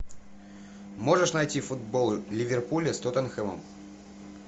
можешь найти футбол ливерпуля с тоттенхэмом